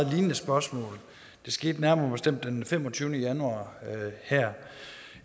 lignende spørgsmål det skete nærmere bestemt den femogtyvende januar her